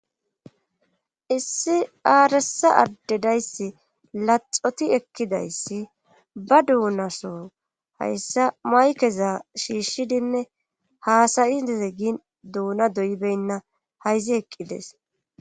issi aaresa addedayssi laxoti ekkidayssi ba duunaso hayssa maykeza shiishshidinne haasayideze gin duuna doybenna hayzi eqqides